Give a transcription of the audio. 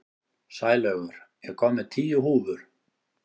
Sælaugur, ég kom með tíu húfur!